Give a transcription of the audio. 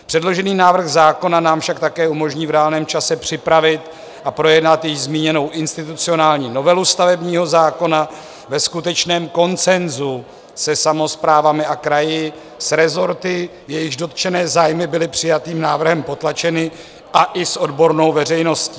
Předložený návrh zákona nám však také umožní v reálném čase připravit a projednat již zmíněnou institucionální novelu stavebního zákona ve skutečném konsenzu se samosprávami a kraji, s rezorty, jejichž dotčené zájmy byly přijatým návrhem potlačeny a i s odbornou veřejností.